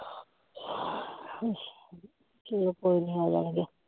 ਚਲੋ ਕੋਈ ਨੀ ਆ ਜਾਣਗੇ